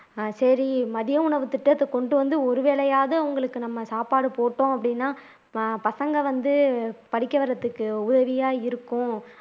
ஹம் சரி மதிய உணவுத்திட்டத்தை கொண்டு வந்து ஒரு வேலையாவது அவங்களுக்கு நம்ம சாப்பாடு போட்டோம் அப்படின்னா பசங்க வந்து படிக்க வர்றதுக்கு உதவியா இருக்கும்